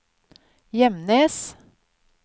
Gjemnes